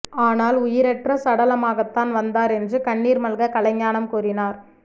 ஆனால் உயிரற்ற சடலமாகத்தான் வந்தார் என்று கண்ணீர் மல்க கலைஞானம் கூறினார்